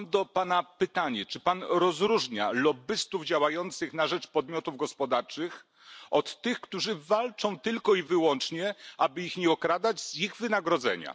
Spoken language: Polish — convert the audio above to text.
Mam do Pana pytanie Czy Pan odróżnia lobbystów działających na rzecz podmiotów gospodarczych od tych, którzy walczą tylko i wyłącznie, aby ich nie okradać z ich wynagrodzenia?